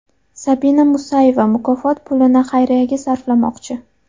Sabina Mustayeva mukofot pulini xayriyaga sarflamoqchi.